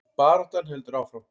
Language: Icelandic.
Baráttan heldur áfram